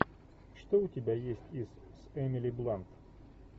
что у тебя есть из с эмили блант